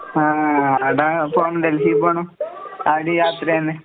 ആഹ് ആടെ പോണം ഡെൽഹീപ്പോണം, അതിനും യാത്രയന്നെ.